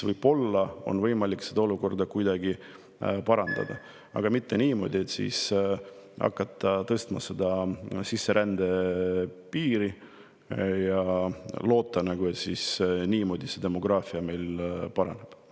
Võib-olla siis on võimalik olukorda kuidagi parandada, aga mitte niimoodi, et hakkame tõstma sisserände piir ja loodame, et demograafiline paraneb.